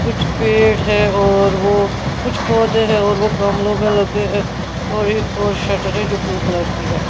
कुछ पेड़ है और वो कुछ पौधे हैं और वो गामलों में लगे हैं और एक और शटर है जो ब्लू कलर की है।